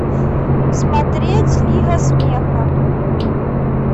смотреть лига смеха